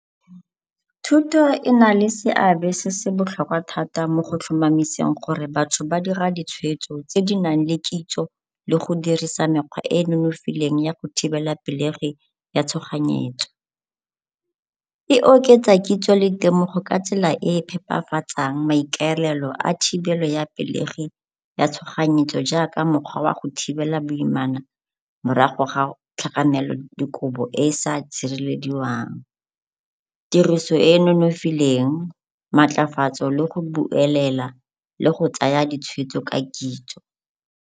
Thuto e na le seabe se se botlhokwa thata mo go tlhomamiseng gore batho ba dira ditshwetso tse di nang le kitso le go dirisa mekgwa e e nonofileng ya go thibela pelegi ya tshoganyetso. E oketsa kitso le temogo ka tsela e e phepafatsang maikaelelo a thibelo ya pelegi ya tshoganyetso jaaka mokgwa wa go thibela boimana morago ga tlhakanelo dikobo e e sa tshirelediwang, tiriso e e nonofileng, maatlafatso le go buelela le go tsaya ditshwetso ka kitso.